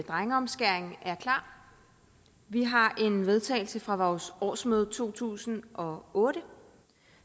drengeomskæring er klar vi har en vedtagelse fra vores årsmøde i to tusind og otte